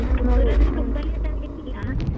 ಆದ್ರೂ ತುಂಬಾ late ಆಗಲಿಕ್ಕಿಲ್ಲ.